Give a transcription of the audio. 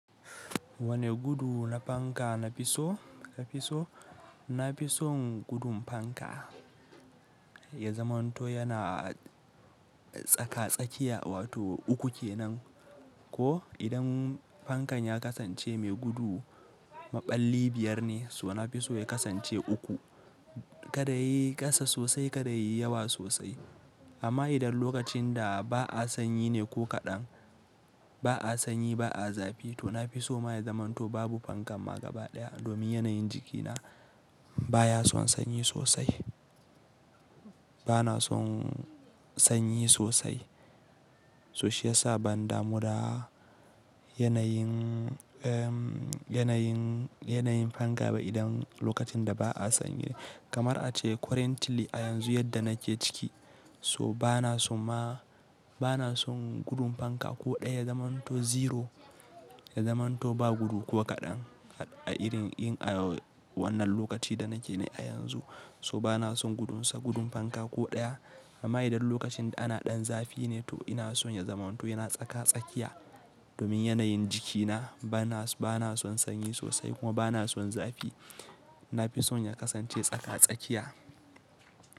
Wane gudu na fanka na fi so, na fi so, na fi son gudun fanka ya zamanto yana tsaka-tsakiya wato uku kenan. Ko idan fankan ya kasance mai gudu maɓalli biyar ne, so na fi so ya kasance uku. Kada yayi ƙasa sosai, kada yayi yawa sosai. Amma idan lokacin da ba a sanyi ne ko kaɗan, ba a sanyi, ba a zafi, to na fi so ma ya zamanto babu fankan ma gaba ɗaya domin yanayin jikina baya son sanyi sosai. Bana son sanyi sosai so shiyasa ban damu da yanayin, umm, yanayin, yanayin fanka ba idan lokacin da ba a sanyi. Kamar ace currently a yanzu yadda nake ciki so bana son ma, bana son gudun fanka ko ɗaya, ya zamanto zero, ya zamanto ba gudu ko kaɗan a irin, in a wannan lokaci da nake ne a yanzu so bana son gudunsa gudun fanka ko ɗaya. Amma idan lokacin ana ɗan zafi ne to ina so ya zamanto yana tsaka-tsakiya domin yanayin jikina bana, bana son sanyi sosai kuma bana son zafi. Na fi son ya kasance tsaka-tsakiya.